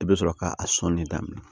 I bɛ sɔrɔ ka a sɔnni daminɛ